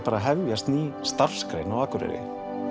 hefjast ný starfsgrein á Akureyri